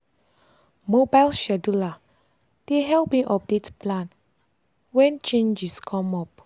mobile scheduler dey help me update plan wen changes come wen changes come up. um